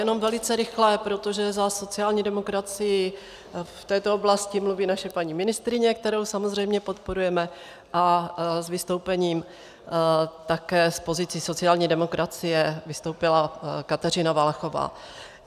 Jenom velice rychle, protože za sociální demokracii v této oblasti mluví naše paní ministryně, kterou samozřejmě podporujeme, a s vystoupením také z pozice sociální demokracie vystoupila Kateřina Valachová.